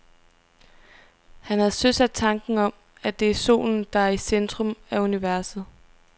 Han havde søsat tanken om, at det er solen, der er i centrum af universet.